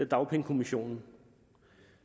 dagpengekommissionen